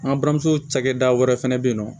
An balimamuso cakɛda wɛrɛ fɛnɛ be yen nɔ